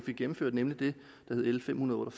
fik gennemført nemlig l fem hundrede og